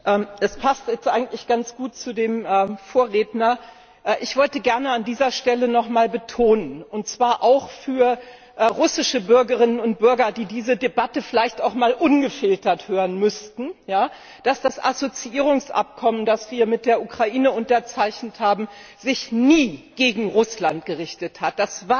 Frau Präsidentin, meine Damen und Herren! Es passt jetzt eigentlich ganz gut zu dem Vorredner. Ich wollte gerne an dieser Stelle noch einmal betonen und zwar auch für russische Bürgerinnen und Bürger, die diese Debatte vielleicht auch einmal ungefiltert hören müssten dass das Assoziierungsabkommen, das wir mit der Ukraine unterzeichnet haben, sich nie gegen Russland gerichtet hat.